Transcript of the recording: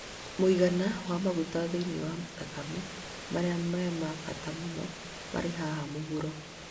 Mũigana wa cholesterol thĩinĩ wa thakame marĩa ma bata mũno marĩ haha mũhuro.